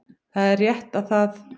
Það er rétt að það